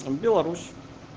беларусь